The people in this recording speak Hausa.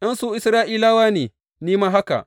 In su Isra’ilawa ne, ni ma haka.